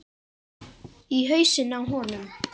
Í hausinn á honum.